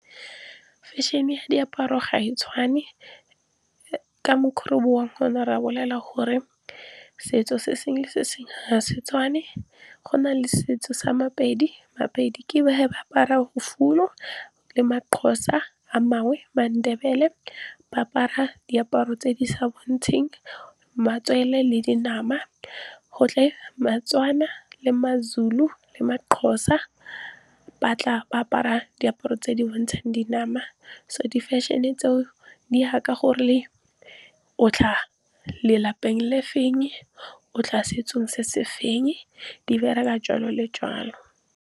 fashion e diaparo gae tshwane ke micro bong gona rebolela gore setso se sengwe se se ha setswana fa go na le setso sa mapedi mapedi ke ba he ba apara bofuthu le maxhosa a mangwe mandebele ba apara diaparo tse di sa bo ntsheng matswele le dinama go tle molatswana le mazulu le maxhosa ba tla ba apara diaparo tse di bontshang dinama so di fashion e tseo di ha ka gore o tla lelapeng le feng o tla setsong se se feng di bereka jalo le jalo